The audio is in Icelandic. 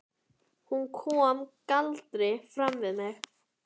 Hún kom galdri fram við mig.